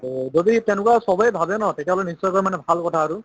to যদি তেনেকুৱা চবে ভাবে ন তেতিয়াহ'লে নিশ্চয়কৈ মানে ভাল কথা আৰু